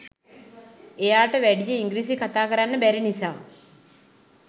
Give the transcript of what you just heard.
එයාට වැඩිය ඉංග්‍රීසි කතා කරන්න බැරි නිසා